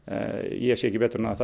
ég sé ekki betur en að